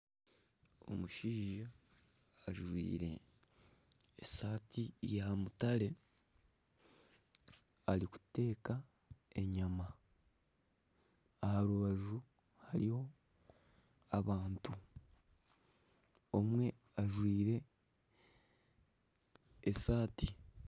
Omushaija ajwire esaati ya mutare arikuteka enyama, aha rubaju hariyo abantu omwe ajwire esaati.